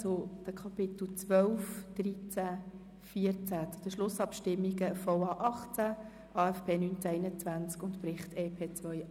Es geht um die Themenblöcke 12, 13 und 14, also um die Schlussabstimmungen zum VA 18, zum AFP 2019–2021 und zum Bericht EP 2018.